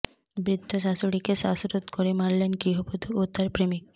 বৃদ্ধ শাশুড়িকে শ্বাসরোধ করে মারলেন গৃহবধূ ও তার প্রেমিক